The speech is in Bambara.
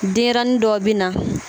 Denɲɛrɛnin dɔw bɛ na